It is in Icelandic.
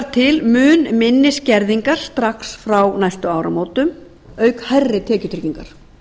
til mun minni skerðingar strax frá næstu áramótum auk hærri tekjutryggingar